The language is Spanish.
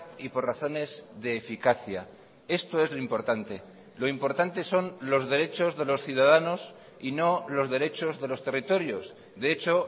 y por razones de eficacia esto es lo importante lo importante son los derechos de los ciudadanos y no los derechos de los territorios de hecho